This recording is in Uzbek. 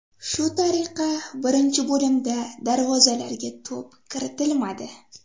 Shu tariqa birinchi bo‘limda darvozalarga to‘p kiritilmadi.